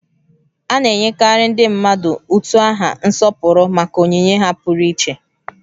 A na-enyekarị ndị mmadụ utu aha nsọpụrụ maka onyinye ha pụrụiche